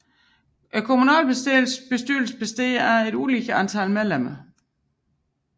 Kommunalbestyrelsen består af et ulige antal medlemmer